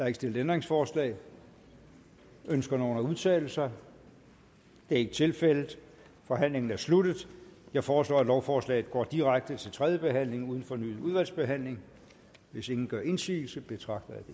ikke stillet ændringsforslag ønsker nogen at udtale sig det er ikke tilfældet forhandlingen er sluttet jeg foreslår at lovforslaget går direkte til tredje behandling uden fornyet udvalgsbehandling hvis ingen gør indsigelse betragter jeg